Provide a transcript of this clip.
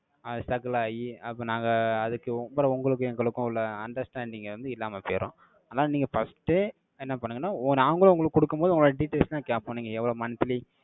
அது struggle ஆயி, அப்ப நாங்க, அதுக்கு உங்கள உங்களுக்கும், எங்களுக்கும் உள்ள understanding வந்து, இல்லாம போயிரும். அதனால, நீங்க first ஏ, என்ன பண்ணுங்கன்னா, நாங்களும் உங்களுக்கு கொடுக்கும் போது, உங்களோட details லாம் கேட்போம், நீங்க எவ்வளவு monthly,